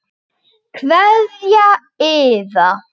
Kveðja Iða.